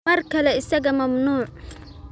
Mar kale isaga mamnuuc.